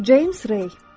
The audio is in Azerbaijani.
James Rey.